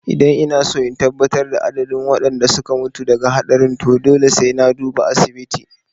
Idan inaso in tabbatar da adadin waɗanda suka mutu daga haɗarin to dole sai na duba asibiti